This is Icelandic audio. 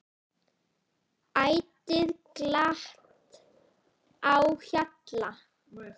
Ætíð glatt á hjalla.